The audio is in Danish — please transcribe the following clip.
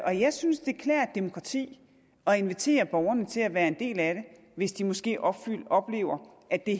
jeg synes det klæder et demokrati at invitere borgerne til at være en del af det hvis de måske oplever oplever at det